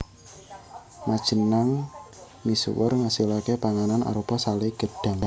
Majenanng misuwur ngasilaké panganan arupa salé gedhang